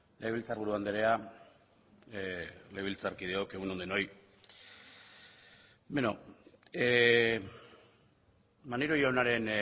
legebiltzarburu andrea legebiltzarkideok egun on denoi maneiro jaunaren